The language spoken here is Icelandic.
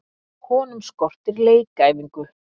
Honum skortir leikæfingu.